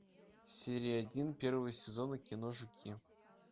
серия один первого сезона кино жуки